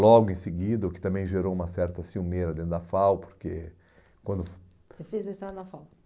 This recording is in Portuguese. logo em seguida, o que também gerou uma certa ciumeira dentro da FAU, porque, quando... Você fez o mestrado na FAU?